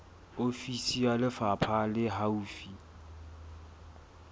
ofisi ya lefapha le haufi